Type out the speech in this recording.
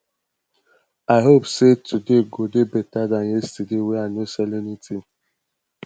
i hope sey today go dey beta dan yesterday wey i no sell anytin